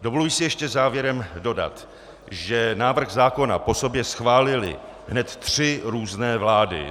Dovoluji si ještě závěrem dodat, že návrh zákona po sobě schválily hned tři různé vlády.